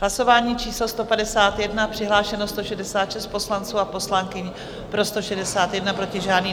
Hlasování číslo 151, přihlášeno 166 poslanců a poslankyň, pro 161, proti žádný.